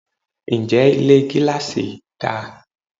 Ǹjẹ́ Ilé gíláàsì dà?